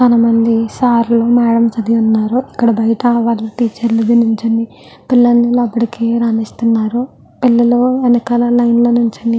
చాలామంది సార్ లు మేడమ్ లు అది ఉన్నారు. ఇక్కడ బయట టీచర్ లు అది నించుని పిల్లలని అక్కడికి రానిస్తున్నారు. పిల్లలు వెనకాల లైన్ లో నించుని--